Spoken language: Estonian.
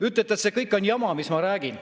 Ütlete, et see kõik on jama, mis ma räägin.